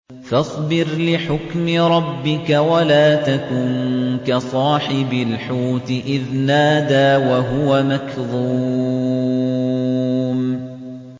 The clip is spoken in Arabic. فَاصْبِرْ لِحُكْمِ رَبِّكَ وَلَا تَكُن كَصَاحِبِ الْحُوتِ إِذْ نَادَىٰ وَهُوَ مَكْظُومٌ